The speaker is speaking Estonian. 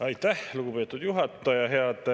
Aitäh, lugupeetud juhataja!